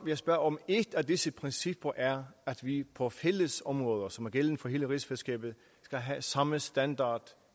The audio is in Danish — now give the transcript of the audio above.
jeg spørge om et af disse principper er at vi på fælles områder som altså er gældende for hele rigsfællesskabet skal have samme standard